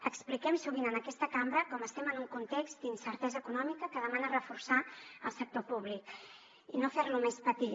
expliquem sovint en aquesta cambra com estem en un context d’incertesa econòmica que demana reforçar el sector públic i no fer lo més petit